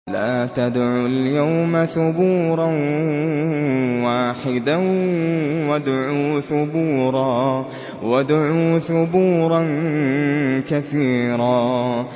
لَّا تَدْعُوا الْيَوْمَ ثُبُورًا وَاحِدًا وَادْعُوا ثُبُورًا كَثِيرًا